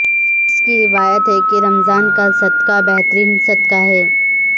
انس کی روایت ہے کہ رمضان کا صدقہ بہترین صدقہ ہے